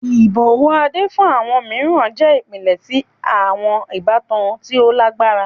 Ibọwọ Ade fun awọn miiran jẹ ipilẹ ti awọn ibatan ti o lagbara.